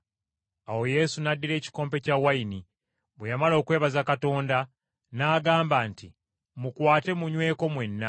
Awo Yesu n’addira ekikompe ky’envinnyo, bwe yamala okwebaza Katonda, n’agamba nti, “Mukwate, munyweko mwenna.